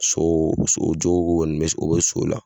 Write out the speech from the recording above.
So so jogo kɔni u bɛ so la.